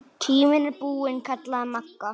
Tíminn er búinn kallaði Magga.